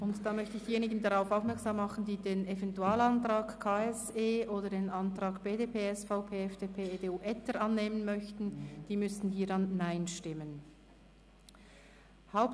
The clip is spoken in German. Ich möchte diejenigen darauf aufmerksam machen, die den Eventualantrag KSE Bern oder den Antrag BDP/SVP/FDP/EDU – Etter annehmen möchten, dass Sie hier mit Nein stimmen müssten.